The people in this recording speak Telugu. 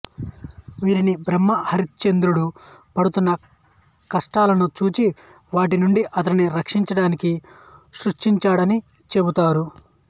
వీరిని బ్రహ్మ హరిశ్చంద్రుడు పడుతున్న కష్టాలను చూచి వాటినుండి అతనిని రక్షించడానికి సృష్టించాడని చెబుతారు